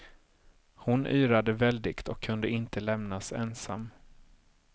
Hon yrade väldigt och kunde inte lämnas ensam.